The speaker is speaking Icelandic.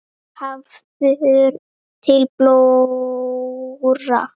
Hafður til blóra?